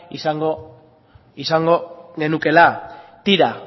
izango genukeela tira